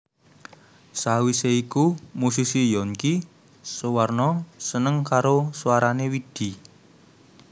Sawise iku musisi Younky Soewarno seneng karo swarané Widi